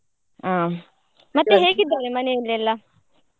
ಹ್ಮ್‌ ಮತ್ತೆ ಹೇಗಿದ್ದಾರೆ ಮನೆಯಲ್ಲೆಲ್ಲ.